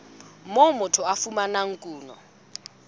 moo motho a fumanang kuno